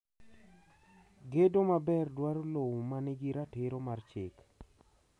Gedo maber dwaro lowo ma nigi ratiro mar chik.